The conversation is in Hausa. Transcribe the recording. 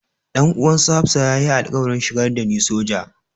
Dan uwan su Hafsah ya yi alƙawarin shigar da ni soja.